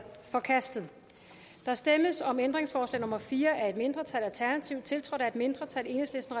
forkastet der stemmes om ændringsforslag nummer fire af et mindretal tiltrådt af et mindretal og